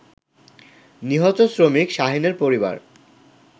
নিহত শ্রমিক শাহীনের পরিবার